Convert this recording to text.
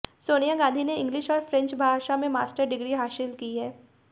सोनिया गांधी ने इंग्लिश और फ्रेंच भाषा में मास्टर डिग्री हासिल की है